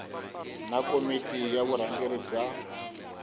na komiti ya vurhangeri bya